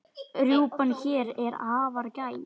Rjúpan hér er afar gæf.